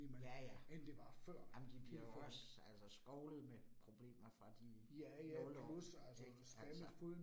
Ja ja, ej men de bliver jo også altså skovlet med problemer fra de 0 år ik altså